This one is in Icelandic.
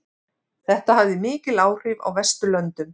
Þetta hafði mikil áhrif á Vesturlöndum.